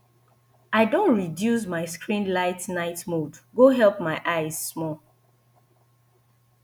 i don reduce my screen light night mode go help my eyes small